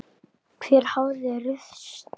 Hver hafði ruðst inn?